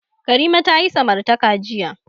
Karima ta yi samartaka jiya.